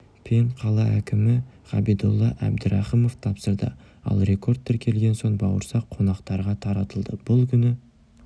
пен қала әкімі ғабидолла әбдірахымов тапсырды ал рекорд тіркелген соң бауырсақ қонақтарға таратылды бұл күні